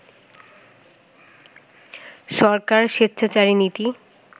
সরকার স্বেচ্ছাচারী নীতি